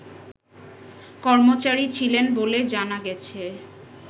কর্মচারী ছিলেন বলে জানা গেছে